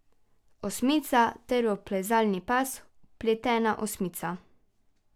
Osmica ter v plezalni pas vpletena osmica.